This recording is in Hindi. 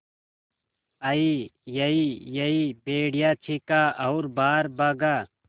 अईयईयई भेड़िया चीखा और बाहर भागा